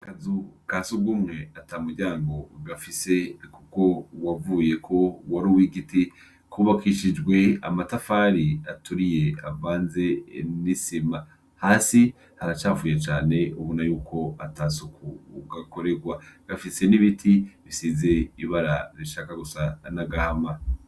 Akazu kasugume atamuryango gafise kuko wavuyeko wari uwigiti kubakishijwe amatafari aturiye avanze nisima hasi haracafuye cane ubona yuko atasuku gakorerwa gafise nibiti bisize ibara rishaka gusa nagahama